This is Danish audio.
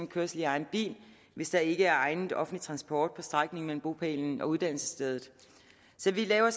kørsel i egen bil hvis der ikke er egnet offentlig transport på strækningen mellem bopælen og uddannelsesstedet så vi laver